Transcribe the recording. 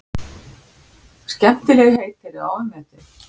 Skemmtilegheit eru ofmetin.